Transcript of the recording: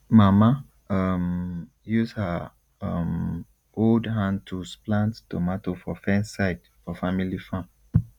mama um use her um old hand tools plant tomato for fence side for family farm